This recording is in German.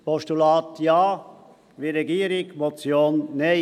Absatz 1: Postulat ja, wie die Regierung, Motion nein.